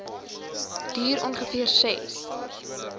duur ongeveer ses